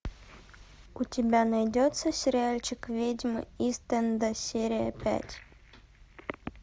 у тебя найдется сериальчик ведьмы ист энда серия пять